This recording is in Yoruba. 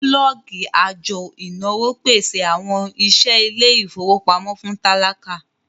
bulọọgi ajo inawo pese awọn iṣẹ ile-ifowopamọ fun tálákà